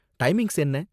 Timings என்ன?